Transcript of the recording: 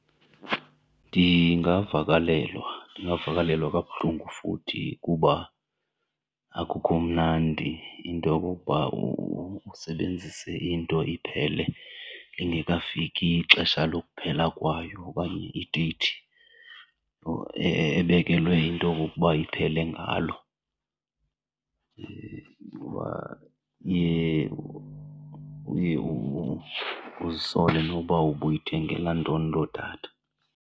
Ndingavakalelwa, ndingavakalelwa kabuhlungu futhi kuba akukho mnandi into yokokuba usebenzise into iphele lingekafiki ixesha lokuphela kwayo okanye ideyithi ebekelwe into okokuba iphele ngalo. Iye, uye uzisole noba ubuyithengela ntoni loo datha.